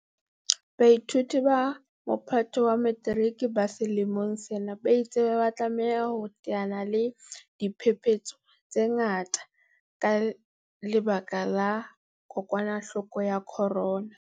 Baithuti ba Mophato wa Metiriki ba selemo sena ba ile ba tlameha ho teana le diphephetso tse ngata ka lebaka la kokwanahloko ya corona.